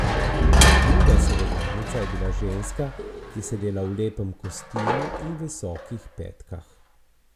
Druga sogovornica je bila ženska, ki je sedela v lepem kostimu in visokih petkah.